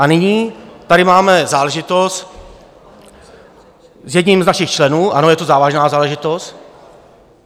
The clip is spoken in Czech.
A nyní tady máme záležitost s jedním z našich členů, ano, je to závažná záležitost.